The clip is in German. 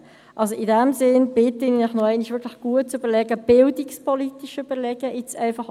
In diesem Sinn bitte ich Sie, sich das wirklich noch einmal gut zu überlegen, auch bildungspolitische Überlegungen anzustellen.